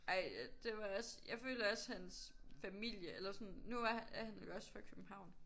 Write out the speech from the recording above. Ej det var også jeg føler også hans familie eller sådan nu er er han jo også fra København